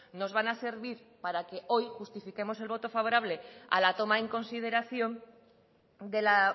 nos van a servir para que hoy justifiquemos el voto favorable a la toma en consideración de la